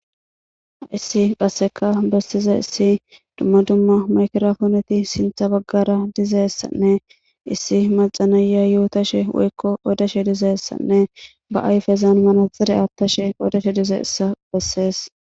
issi qasseka bessize issi dumma dumma makrfooneti sintha baggara dizeyissanne issi macanaya yuutashe woykko odeshe dizeessanne ba ayfezaan manaxare aaththashe odeshe dizeyissa bessees